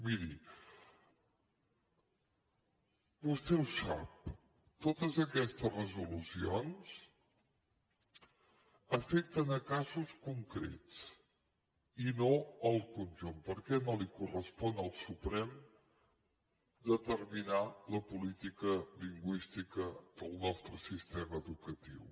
miri vostè ho sap totes aquestes resolucions afecten casos concrets i no el conjunt perquè no correspon al suprem determinar la política lingüística del nostre sistema educatiu